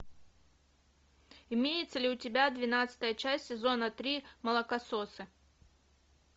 имеется ли у тебя двенадцатая часть сезона три молокососы